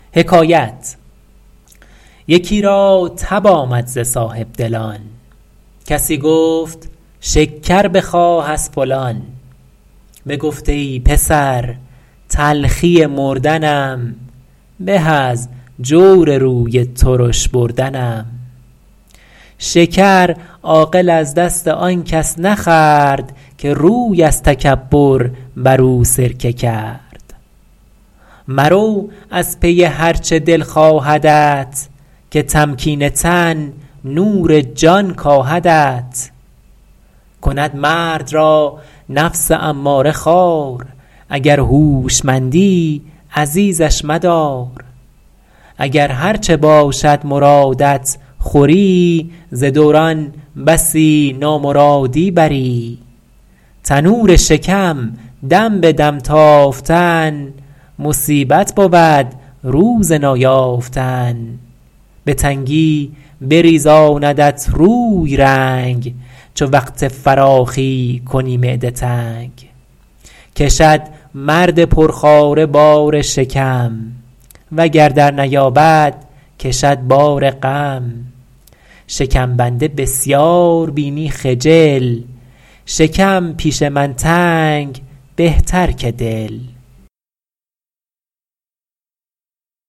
یکی را تب آمد ز صاحبدلان کسی گفت شکر بخواه از فلان بگفت ای پسر تلخی مردنم به از جور روی ترش بردنم شکر عاقل از دست آن کس نخورد که روی از تکبر بر او سرکه کرد مرو از پی هر چه دل خواهدت که تمکین تن نور جان کاهدت کند مرد را نفس اماره خوار اگر هوشمندی عزیزش مدار اگر هرچه باشد مرادت خوری ز دوران بسی نامرادی بری تنور شکم دم به دم تافتن مصیبت بود روز نایافتن به تنگی بریزاندت روی رنگ چو وقت فراخی کنی معده تنگ کشد مرد پرخواره بار شکم وگر در نیابد کشد بار غم شکم بنده بسیار بینی خجل شکم پیش من تنگ بهتر که دل